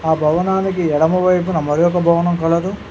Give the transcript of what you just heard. ఆ భవనానికి ఎడమవైపున మరొక భవనం కలదు.